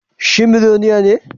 Shi miloniya ne?